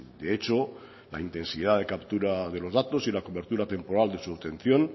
de hecho la intensidad de captura de los datos y la cobertura temporal de su obtención